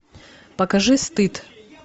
покажи стыд